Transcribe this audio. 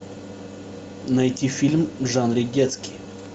найти фильм в жанре детский